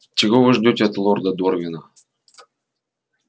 чего вы ждёте от лорда дорвина